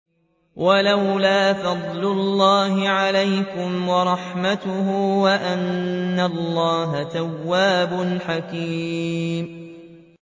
وَلَوْلَا فَضْلُ اللَّهِ عَلَيْكُمْ وَرَحْمَتُهُ وَأَنَّ اللَّهَ تَوَّابٌ حَكِيمٌ